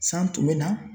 San tun bɛ na